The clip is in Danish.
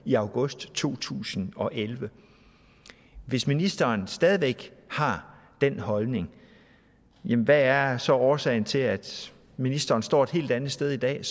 i august to tusind og elleve hvis ministeren stadig væk har den holdning hvad er så årsagen til at ministeren står et helt andet sted i dag